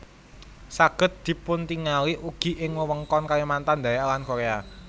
Saged dipuntingali ugi ing wewengkon Kalimantan Dayak lan Korea